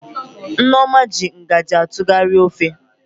Nneoma ji ngaji atụgharị ofe